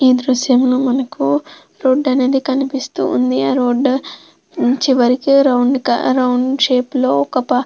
ఈ దృశ్యంలో మనకు రోడ్డు అనేది కనిపిస్తూ ఉంది. ఆ రోడ్డు చివరికి రౌండ్ కా రౌండ్ షేప్ లో ఒక--